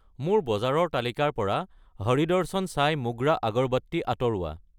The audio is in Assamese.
মোৰ বজাৰৰ তালিকাৰ পৰা হৰি দৰ্শন সাই মোগৰা আগৰবট্টি আঁতৰোৱা।